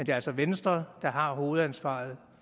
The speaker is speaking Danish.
er altså venstre der har hovedansvaret